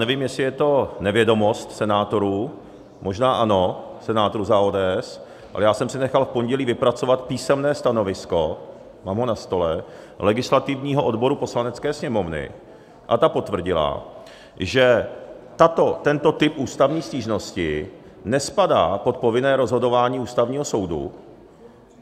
Nevím, jestli je to nevědomost senátorů, možná ano, senátorů za ODS, ale já jsem si nechal v pondělí vypracovat písemné stanovisko - mám ho na stole - legislativního odboru Poslanecké sněmovny a ta potvrdila, že tento typ ústavní stížnosti nespadá pod povinné rozhodování Ústavního soudu.